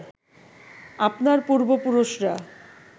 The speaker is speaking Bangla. আপনার পূর্ব পুরুষরা